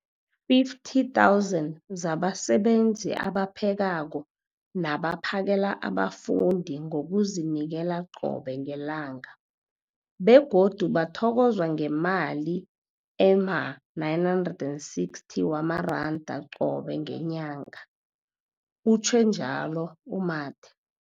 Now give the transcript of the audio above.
50 000 zabasebenzi abaphekako nabaphakela abafundi ngokuzinikela qobe ngelanga, begodu bathokozwa ngemali ema-960 wamaranda qobe ngenyanga, utjhwe njalo u-Mathe.